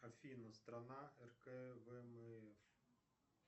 афина страна